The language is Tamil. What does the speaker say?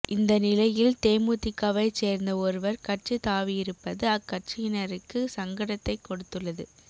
இந்த நிலையில் தேமுதிகவைச் சேர்ந்த ஒருவர் கட்சி தாவியிருப்பது அக்கட்சியினருக்கு சங்கடத்தைக் கொடுத்துள்ளது